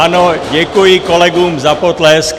Ano, děkuji kolegům za potlesk.